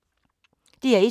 DR1